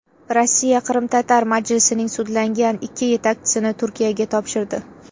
Rossiya Qrimtatar majlisining sudlangan ikki yetakchisini Turkiyaga topshirdi.